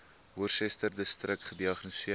worcesterdistrik gediagnoseer